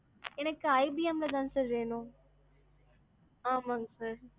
எனக்கு IBM ல தான் sir வேணும். ஆமாங்க sir.